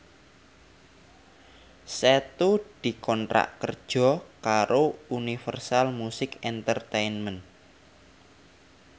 Setu dikontrak kerja karo Universal Music Entertainment